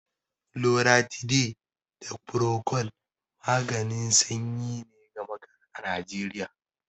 Loratiday da Procold maganin sanyi ne gama-gari a Najeriya.